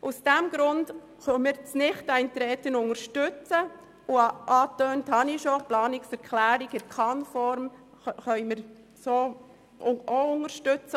Aus diesem Grund unterstützen wir das Nichteintreten, und – angetönt habe ich es schon – die Planungserklärung mit der Kann-Formulierung können wir so auch unterstützen.